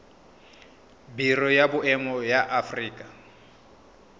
biro ya boemo ya aforika